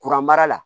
Kuran mara la